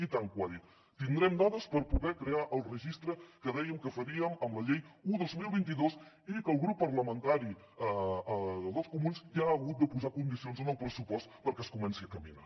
i tant que ho ha dit tindrem dades per poder crear el registre que dèiem que faríem amb la llei un dos mil vint dos i que el grup parlamentari dels comuns ja ha hagut de posar condicions en el pressupost perquè es comenci a caminar